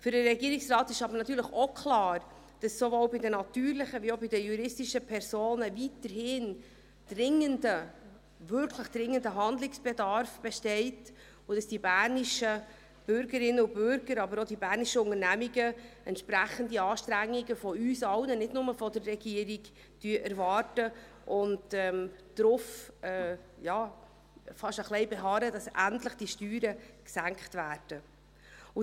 Für den Regierungsrat ist aber natürlich auch klar, dass sowohl bei den natürlichen als auch bei den juristischen Personen weiterhin dringender, wirklich dringender Handlungsbedarf besteht und dass die bernischen Bürgerinnen und Bürger, aber auch die bernischen Unternehmungen entsprechende Anstrengungen von uns allen erwarten, nicht nur von der Regierung, und fast ein wenig darauf beharren, dass die Steuern endlich gesenkt werden.